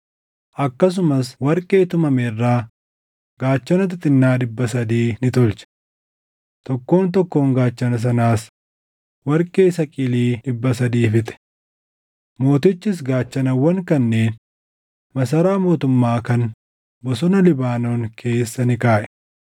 Akkasumas warqee tumame irraa gaachana xixinnaa dhibba sadii ni tolche. Tokkoon tokkoon gaachana sanaas warqee saqilii dhibba sadii fixe. Mootichis gaachanawwan kanneen Masaraa mootummaa kan Bosona Libaanoon keessa ni kaaʼe.